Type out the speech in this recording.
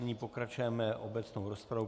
Nyní pokračujeme obecnou rozpravou.